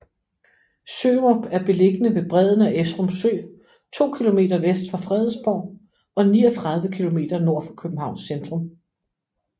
Sørup er beliggende ved bredden af Esrum Sø to kilometer vest for Fredensborg og 39 kilometer nord for Københavns centrum